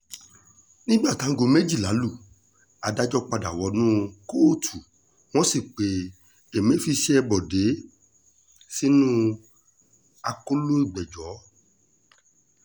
nígbà táago méjìlá lu adájọ́ padà wọnú kóòtù wọ́n sì pe emefíse bọ́ọ̀dẹ̀ sínú akóló ìgbẹ́jọ́